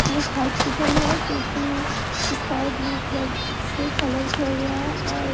एक हॉस्पिटल है जोकि इस्काई ब्लू कलर से कलर किया गया है और --